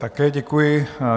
Také děkuji.